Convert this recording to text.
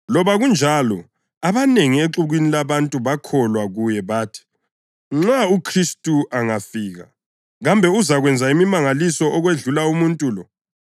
Loba kunjalo, abanengi exukwini labantu bakholwa kuye. Bathi, “Nxa uKhristu angafika, kambe uzakwenza imimangaliso okwedlula umuntu lo?”